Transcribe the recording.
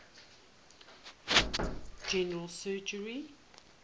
general surgery